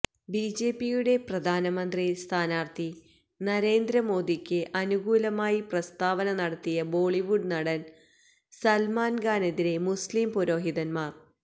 ബിജെപിയുടെ പ്രധാനമന്ത്രി സ്ഥാനാര്ത്ഥി നരേന്ദ്ര മോഡിയ്ക്ക് അനുകൂലമായി പ്രസ്താവന നടത്തിയ ബോളിവുഡ് നടന് സല്മാന് ഖാനെതിരെ മുസ്ലീം പുരോഹിതന്മാര്